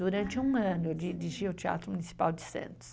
Durante um ano eu dirigi o Teatro Municipal de Santos.